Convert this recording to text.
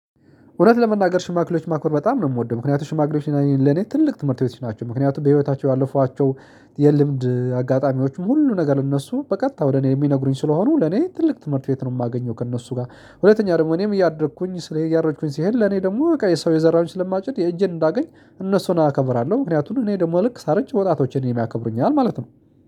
እውነት ለመናገር ሽማግሌዎች ማክበር በጣም ነው የምወደው ምክንያቱም ሽማግሌዎች ለኔ ትልቅ ትምህርት ቤቶች ናቸው ምክንያቱም በህይወታቸው ያለፏቸው የልምድ አጋጣሚዎችም ሁሉ ነገር ለእነሱ በቀጥታ ወደ እኔ የሚነግሩኝ ስለሆኑ ለኔ ትልቅ ትምህርት ቤት ነው የማገኘው ከእነሱ ጋር። ሁለተኛ ደግሞ እኔም እያደኩኝ ስለዚህ እያረጅኩኝ ሲሄድ ለኔ ደግሞ በቃ የሰው የዘራውን ስለማጭድ የእጄን እንዳገኝ። እነሱን አከብራለሁ ምክንያቱም እኔ ደግሞ ልክ ሳርጅ ወጣቶች እኔን ያከብሩኛል ማለት ነው